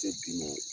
Tɛ bi nɔ